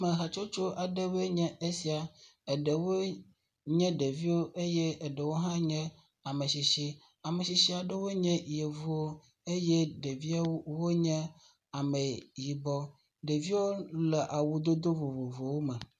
Ame hatsostso aɖewoe nye esia, eɖewo nye ɖeviwo eye ɖewo hã nye ametsitsi, ametsitsi aɖewo nye yevuwo eye ɖeviwo wonye ame yibɔ, ɖeviwo le awudodo vovovowo me.